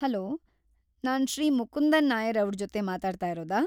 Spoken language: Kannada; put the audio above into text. ಹಲೋ! ನಾನ್‌ ಶ್ರೀ ಮುಕುಂದನ್‌ ನಾಯರ್‌ ಅವ್ರ ಜೊತೆ ಮಾತಾಡ್ತಾಯಿರೋದಾ?